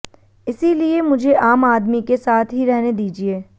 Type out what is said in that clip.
इसीलिए मुझे आम आदमी के साथ ही रहने दीजिए